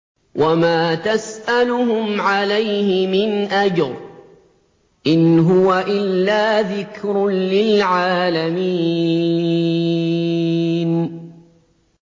وَمَا تَسْأَلُهُمْ عَلَيْهِ مِنْ أَجْرٍ ۚ إِنْ هُوَ إِلَّا ذِكْرٌ لِّلْعَالَمِينَ